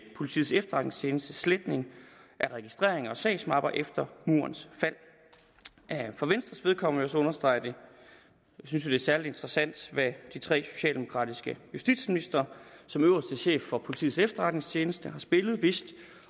politiets efterretningstjenestes sletning af registreringer og sagsmapper efter murens fald for venstres vedkommende så understrege at vi synes det er særlig interessant at de tre socialdemokratiske justitsministre som øverste chefer for politiets efterretningstjeneste har spillet